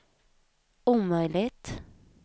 omöjligt